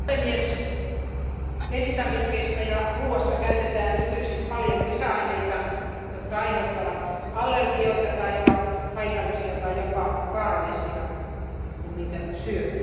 Arvoisa puhemies, elintarvikkeissa ja ruoassa käytetään nykyisin paljon lisäaineita, jotka aiheuttavat allergioita tai ovat haitallisia tai jopa vaarallisia, kun niitä syö.